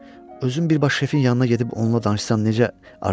Özüm birbaşa şəfin yanına gedib onunla danışsam necə, Artur?